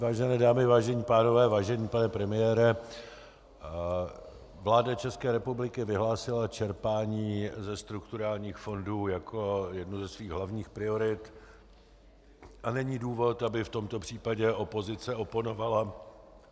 Vážené dámy, vážení pánové, vážený pane premiére, vláda České republiky vyhlásila čerpání ze strukturálních fondů jako jednu ze svých hlavních priorit a není důvod, aby v tomto případě opozice oponovala.